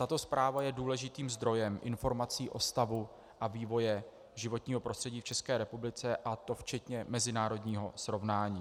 Tato zpráva je důležitým zdrojem informací o stavu a vývoji životního prostředí v České republice, a to včetně mezinárodního srovnání.